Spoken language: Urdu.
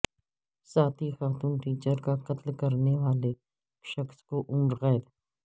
ساتھی خاتون ٹیچر کا قتل کرنے والے شخص کو عمر قید